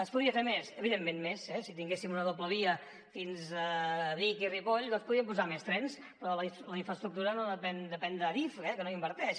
es podria fer més evidentment si tinguéssim una doble via fins a vic i ripoll doncs podríem posar més trens però la infraestructura depèn d’adif que no hi inverteix